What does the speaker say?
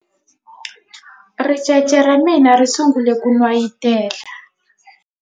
ricece ra mina ri sungule ku n'wayitela